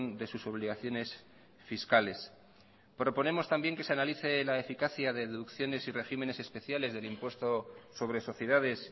de sus obligaciones fiscales proponemos también que se analice la eficacia de deducciones y regímenes especiales del impuesto sobre sociedades